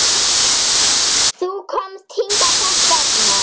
Þið þurfið að drekka meira.